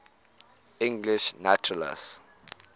english naturalists